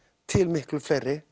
til miklu fleiri